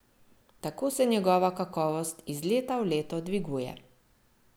Tako se njegova kakovost iz leta v leto dviguje.